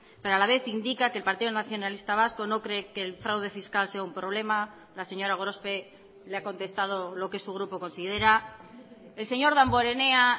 pero a la vez indica que el partido nacionalista vasco no cree que el fraude fiscal sea un problema la señora gorospe le ha contestado lo que su grupo considera el señor damborenea